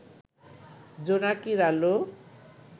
জোনাকির আলো